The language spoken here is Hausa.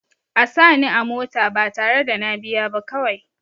A sa ni a mota ba tare da na biya ba kawai